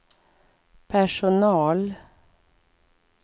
personal